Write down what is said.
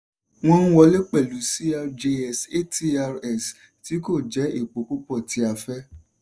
wọ́n ń wọlé pẹ̀lú crjs atrs tí kò jẹ epo púpọ̀ tí a fẹ́.